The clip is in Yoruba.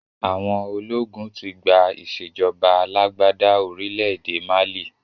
Àwọn ológun tí gbà ìsèjọba alàgbàda orílẹ̀ èdè Málí